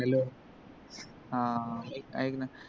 hello ह एक न